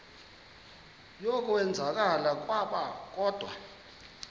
yokwenzakala kwabo kodwa